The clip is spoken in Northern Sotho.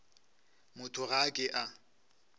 motho ga a ke a